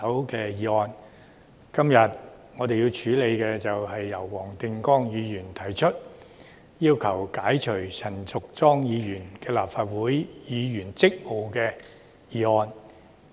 今天，我為何支持黃定光議員提出的議案，解除陳淑莊議員的立法會議員職務呢？